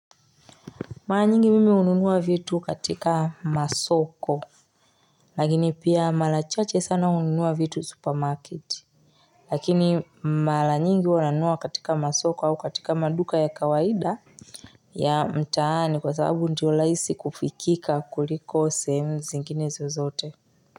Mala nyingi mimi hununua vitu katika masoko, lakini pia mala chache sana ununua vitu supermarket. Lakini mala nyingi huwa nanua katika masoko au katika maduka ya kawaida ya mtaani kwa sababu ndio laisi kufikika kuliko sehemu zingine zozote.